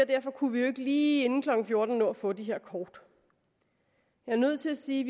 derfor kunne vi jo ikke lige inden klokken fjorten nå at få de her kort jeg er nødt til at sige